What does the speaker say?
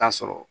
Ta sɔrɔ